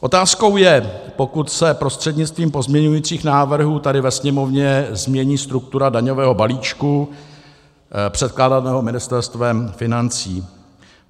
Otázkou je, pokud se prostřednictvím pozměňujících návrhů tady ve Sněmovně změní struktura daňového balíčku předkládaného Ministerstvem financí.